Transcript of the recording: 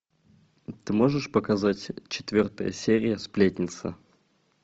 ты можешь показать четвертая серия сплетница